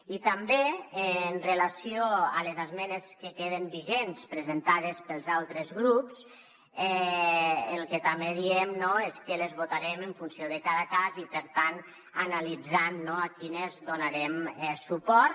i també amb relació a les esmenes que queden vigents presentades pels altres grups el que també diem no és que les votarem en funció de cada cas i per tant analitzant a quines donarem suport